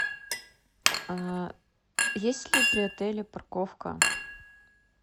есть ли при отеле парковка